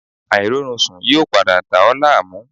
Airorunsun yoo pada dà ọ́ laamu